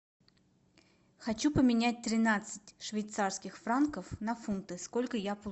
хочу поменять тринадцать швейцарских франков на фунты сколько я